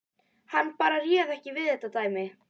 Hann bara réð ekki við þetta dæmi.